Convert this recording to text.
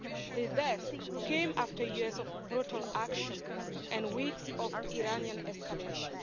His death came after years of brutal action and weeks of Iranian escalation.